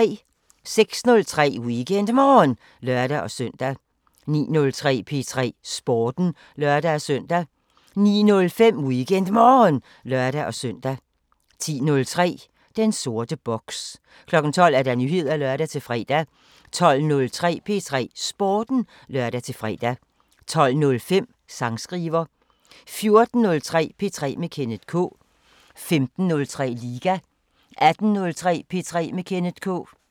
06:03: WeekendMorgen (lør-søn) 09:03: P3 Sporten (lør-søn) 09:05: WeekendMorgen (lør-søn) 10:03: Den sorte boks 12:00: Nyheder (lør-fre) 12:03: P3 Sporten (lør-fre) 12:05: Sangskriver 14:03: P3 med Kenneth K 15:03: Liga 18:03: P3 med Kenneth K